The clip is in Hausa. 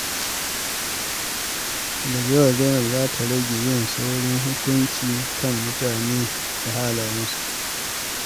Daga yau, Zainab za ta rage yin saurin hukunci kan mutane da halayensu.